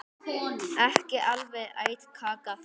Ekki alveg æt kaka þar.